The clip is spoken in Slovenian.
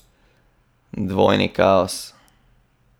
Dvojni kaos!